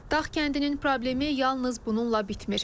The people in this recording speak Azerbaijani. Dağ kəndinin problemi yalnız bununla bitmir.